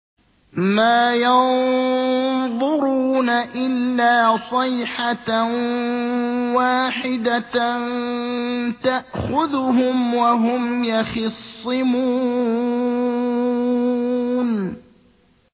مَا يَنظُرُونَ إِلَّا صَيْحَةً وَاحِدَةً تَأْخُذُهُمْ وَهُمْ يَخِصِّمُونَ